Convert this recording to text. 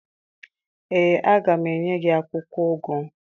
Ee, aga m enye gị akwụkwọ ụgụ